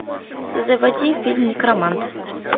заводи фильм некромант